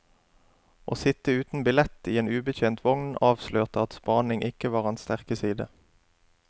Å sitte uten billett i en ubetjent vogn avslørte at spaning ikke var hans sterke side.